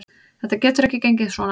Þetta getur ekki gengið svona.